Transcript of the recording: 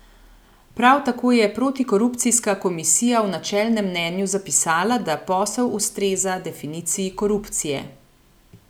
Prav tako je protikorupcijska komisija v načelnem mnenju zapisala, da posel ustreza definiciji korupcije.